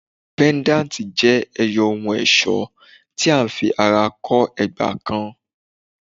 Pendanti jẹ ẹyọ ohun-ọṣọ ti a fi ara kọ ẹgba kan